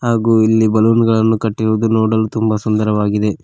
ಹಾಗು ಇಲ್ಲಿ ಬಲೂನ್ ಳನ್ನು ಕಟ್ಟಿರುವುದು ನೋಡಲು ತುಂಬ ಸುಂದರವಾಗಿದೆ.